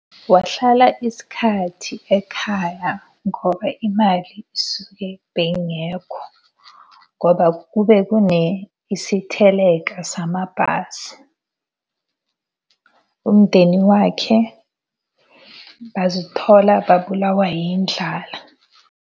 Wahlala isikhathi ekhaya ngoba imali isuke beyingekho. Ngoba kube kune isiteleka samabhasi. Umndeni wakhe bazithola babulawa yindlala.